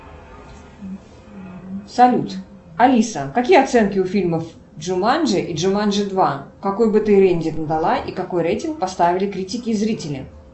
салют алиса какие оценки у фильмов джуманджи и джуманджи два какой бы ты рейтинг дала и какой рейтинг поставили критики и зрители